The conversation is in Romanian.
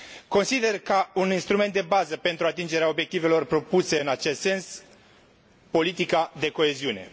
Consider ca un instrument de bază pentru atingerea obiectivelor propuse în acest sens, politica de coeziune.